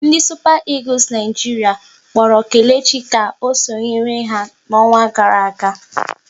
Ndị Supa Egules Naijiria kpọrọ Kelechi ka o sonyere ha n'ọnwa gara aga